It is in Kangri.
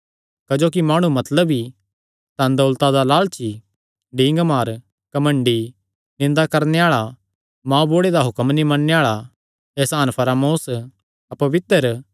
क्जोकि माणु मतलबी धनदौलता दा लालची डींगमार घमंडी निंदा करणे आल़ा मांऊबुढ़े दा हुक्म नीं मन्नणे आल़ा एहसान फरामोस अपवित्र